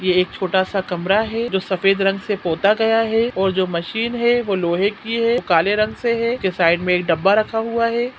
ये एक छोटा सा कमरा है जो सफ़ेद रंग से पोता गया है और जो मशीन है वो लोहे की है काले रंग से है के साइड में एक डब्बा रखा हुआ हैं।